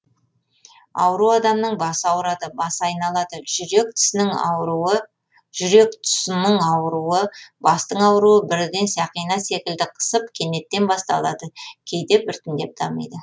ауру адамның басы ауырады басы айналады жүрек тұсының ауруы бастың ауруы бірден сақина секілді қысып кенеттен басталады кейде біртіндеп дамиды